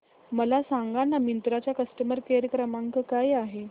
मला सांगाना मिंत्रा चा कस्टमर केअर क्रमांक काय आहे